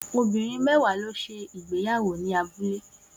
Obìnrin mẹ́wàá ló ṣe ìgbéyàwó ní abúlé